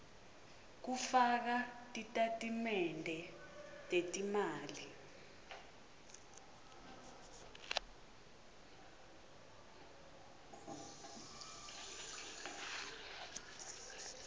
kufaka titatimende tetimali